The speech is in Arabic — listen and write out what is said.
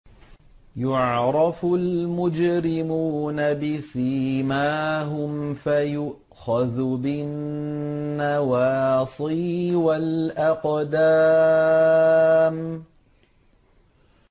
يُعْرَفُ الْمُجْرِمُونَ بِسِيمَاهُمْ فَيُؤْخَذُ بِالنَّوَاصِي وَالْأَقْدَامِ